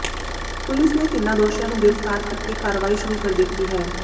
police ਨੇ ਤਿੰਨਾਂ ਦੋਸ਼ੀਆਂ ਨੂੰ ਗਿ੍ਫ਼ਤਾਰ ਕਰ ਕੇ ਕਾਰਵਾਈ ਸ਼ੁਰੂ ਕਰ ਦਿੱਤੀ ਹੈ